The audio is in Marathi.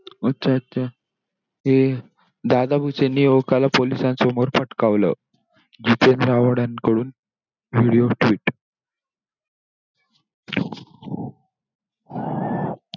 अच्छा! अच्छा! ते दादा भुसेंनी युवकाला police समोर फाटकावलं जितेंद्र आव्हाडांकडून video tweet